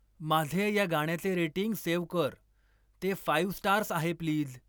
माझे या गाण्याचे रेटिंग सेव्ह कर ते फाईव स्टार्स आहे प्लीज